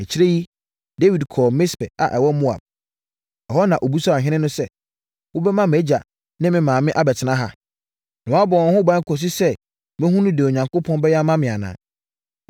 Akyire yi, Dawid kɔɔ Mispe a ɛwɔ Moab. Ɛhɔ na ɔbisaa ɔhene no sɛ, “Wobɛma mʼagya ne me maame abɛtena ha, na woabɔ wɔn ho ban kɔsi sɛ mɛhunu deɛ Onyankopɔn bɛyɛ ama me anaa?”